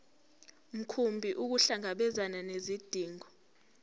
mkhumbi ukuhlangabezana nezidingo